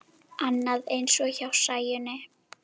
Annað eins hjá Sæunni.